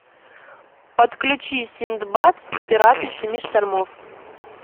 подключи синдбад пираты семи штормов